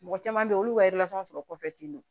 Mɔgɔ caman bɛ ye olu ka sɔrɔ kɔfɛ ten don